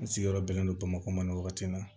N sigiyɔrɔ bɛnnen don bamakɔ ma wagati min na